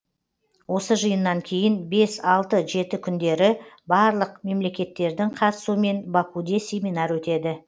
осы жиыннан кейін бес алты жеті күндері барлық мемлекеттердің қатысуымен бакуде семинар өтеді